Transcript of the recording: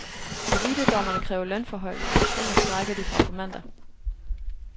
Elitedommerne kræver lønforhøjelse, ellers strejker de fra på mandag.